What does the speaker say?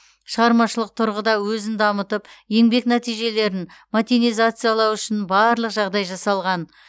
шығармашылық тұрғыда өзін дамытып еңбек нәтижелерін мотенизациялау үшін барлық жағдай жасалған